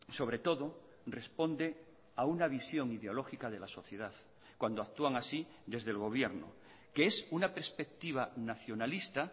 sobre todo responde a una visión ideológica de la sociedad cuando actúan así desde el gobierno que es una perspectiva nacionalista